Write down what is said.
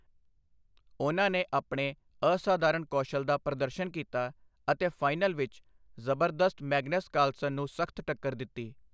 ਉਨ੍ਹਾਂ ਨੇ ਆਪਣੇ ਅਸਾਧਾਰਣ ਕੌਸ਼ਲ ਦਾ ਪ੍ਰਦਰਸ਼ਨ ਕੀਤਾ ਅਤੇ ਫਾਈਨਲ ਵਿੱਚ ਜ਼ਬਰਦਸਤ ਮੈਗਨਸ ਕਾਰਲਸਨ ਨੂੰ ਸਖ਼ਤ ਟੱਕਰ ਦਿੱਤੀ।